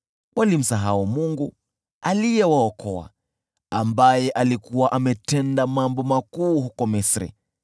Walimsahau Mungu aliyewaokoa, aliyekuwa ametenda mambo makuu huko Misri,